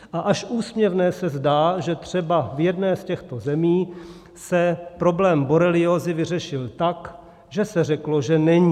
A až úsměvné se zdá, že třeba v jedné z těchto zemí se problém boreliózy vyřešil tak, že se řeklo, že není.